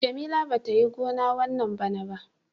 Jamila bata Yi gona wanna bana ba.